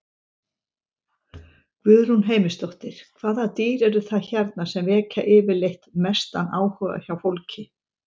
Guðrún Heimisdóttir: Hvaða dýr eru það hérna sem vekja yfirleitt mestan áhuga hjá fólki?